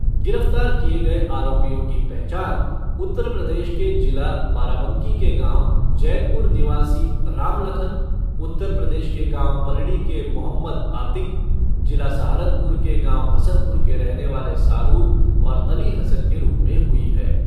गिरफ्तार किए गए आरोपियों की पहचान उत्तर प्रदेश के जिला बाराबांकी के गाँव जैतपुर निवासी रामलखन, उत्तर प्रदेश के गाँव पलडी के मोहम्मद आतिक, जिला सहारनपुर के गाँव हसनपुर के रहने वाले सारून और अली हसन के रूप में हुई।